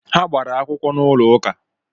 Ha gbara akwụkwọ n'ụlọ uka